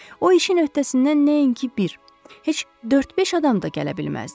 O işin öhdəsindən nəinki bir, heç dörd-beş adam da gələ bilməzdi.